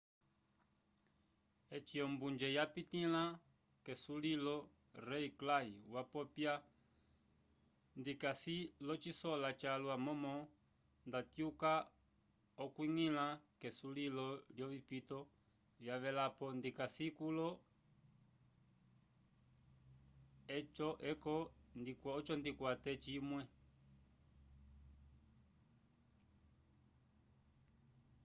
eci ombunje yapitĩla k'esulilo rei clay wapopya ndikasi locisola calwa momo ndatyuka k'okwiñgila k'esulilo lyovipito vyavelapo ndikasi kulo eco ndikwate cimwe